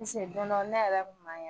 Piseke don dɔ ne yɛrɛ kun man kɛnɛ.